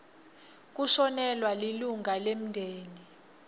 kushonelwa lilunga lemndeni